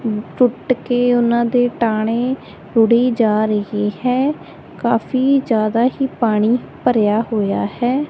ਟੁੱਟ ਕੇ ਉਹਨਾਂ ਦੇ ਟਾਣੇ ਰੁੜੀ ਜਾ ਰਹੀ ਹੈ। ਕਾਫੀ ਜਿਆਦਾ ਹੀ ਪਾਣੀ ਭਰਿਆ ਹੋਇਆ ਹੈ।